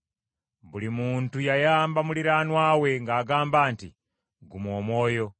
Buli muntu yayamba muliraanwa we ng’agamba nti; “Guma omwoyo!”